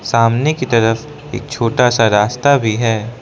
सामने की तरफ एक छोटा सा रास्ता भी है।